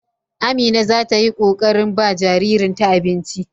Amina za ta yi ƙoƙarin ba jaririnta abinci.